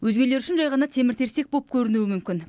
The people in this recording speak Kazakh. өзгелер үшін жай ғана темір терсек боп көрінуі мүмкін